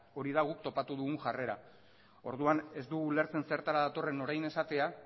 hori da guk topatu dugun jarrera orduan ez dugu ulertzen zertara datorren orain esatea